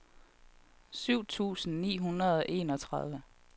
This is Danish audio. syv tusind ni hundrede og enogtredive